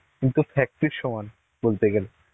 কিন্তু factory র সমান বলতে গেলে.